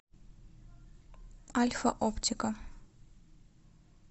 альфа оптика